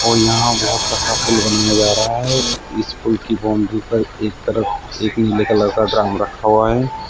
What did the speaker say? यहां बहोत अच्छा पुल बनाया जा रहा है इस पुल की बाउंड्री पर एक तरफ एक नीले कलर का ड्रम रखा हुआ है।